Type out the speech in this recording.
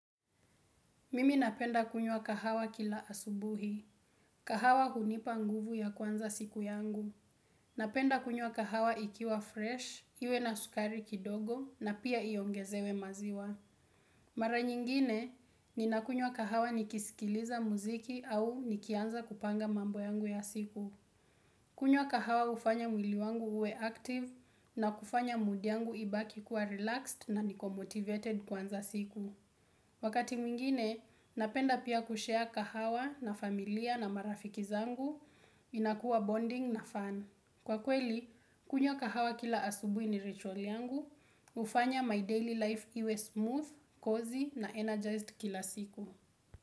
Mimi napenda kunywa kahawa kila asubuhi. Kahawa hunipa nguvu ya kwanza siku yangu. Napenda kunywa kahawa ikiwa fresh, iwe na sukari kidogo na pia iongezewe maziwa. Mara nyingine, ninakunywa kahawa nikisikiliza muziki au nikianza kupanga mambo yangu ya siku. Kunywa kahawa ufanya mwiliwangu uwe active na kufanya moodi yangu ibaki kuwa relaxed na nikomotivated kwanza siku. Wakati mwingine, napenda pia kushia kahawa na familia na marafiki zangu, inakua bonding na fun. Kwa kweli, kunywa kahawa kila asubui ni ritual yangu, ufanya my daily life iwe smooth, cozy na energized kila siku.